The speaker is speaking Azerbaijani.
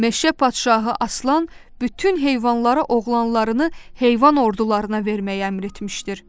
Meşə padşahı Aslan bütün heyvanlara oğlanlarını heyvan ordularına verməyə əmr etmişdir.